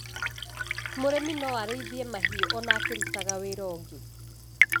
Mũrĩmi no arĩithie mahiũ ona akĩrũtaga wĩra ũngĩ.